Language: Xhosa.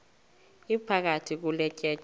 iphakathi kule tyeya